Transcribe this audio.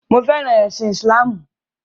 Mo fẹràn ẹ̀sìn ìsìláàmù.